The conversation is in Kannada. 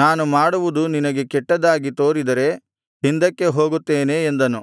ನಾನು ಮಾಡುವುದು ನಿನಗೆ ಕೆಟ್ಟದ್ದಾಗಿ ತೋರಿದರೆ ಹಿಂದಕ್ಕೆ ಹೋಗುತ್ತೇನೆ ಎಂದನು